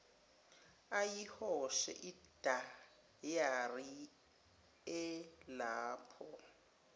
ayihoshe idayari elapho